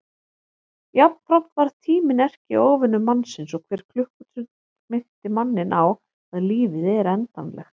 Jafnframt varð tíminn erkióvinur mannsins og hver klukkustund minnti manninn á að lífið er endanlegt.